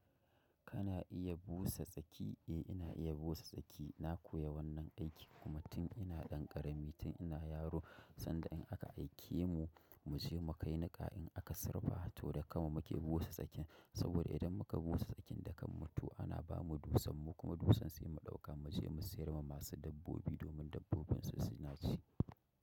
Kana iya busa tsaki? Eh ina iya busa tsaki. Na koya wannan aiki kuma tun ina ɗan ƙarami tun ina yaro sanda in aka aike mu mu je mu kai niƙa in aka sarrafa ta ko da kama muka busa tsakin saboda idan muka busa tsakin da kan mutu ana bamu dusan mu kuma dusan sai mu ɗauka mu je mu sayar ma masu dabbobi domin dabbobin su ci naci.